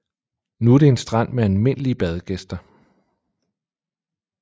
Nu er det en strand med almindelige badegæster